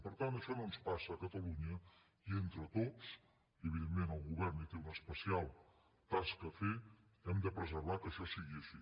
per tant això no ens passa a catalunya i entre tots i evidentment el govern hi té una especial tasca a fer hem de preservar que això sigui així